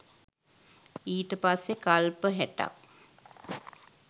ඊට පස්සේ කල්ප හැටක්